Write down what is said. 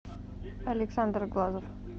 александр глазов